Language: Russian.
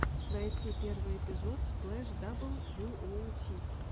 найти первый эпизод сплэш дабл ю оу ти